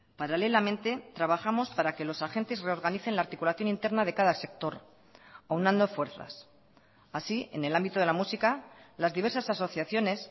paralelamente trabajamos para que los agentes reorganicen la articulación interna de cada sector aunando fuerzas así en el ámbito de la música las diversas asociaciones